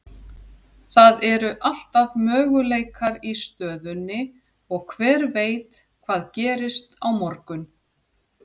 Það eru alltaf möguleikar í stöðunni og hver veit hvað gerist á morgun?